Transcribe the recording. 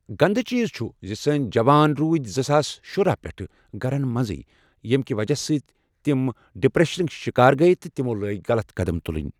گنٛدٕ چیٖز چھُ زِ سٲنۍ جوان روٗدۍ زٕ ساس شُراہ پٮ۪ٹھٕ گرن منٛزٕے ییٚمۍ کہِ وجہ سۭتۍ تِمہ ڈپرٮ۪شنٕکۍ شکار گٔیہ تہٕ تمو لٲگۍ غلط قدم تُلٕنۍ